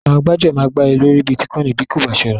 Àwọn gbájúẹ̀ máa gbá ẹ lórí Bítíkoìnì tí o kò bá ṣọ́ra.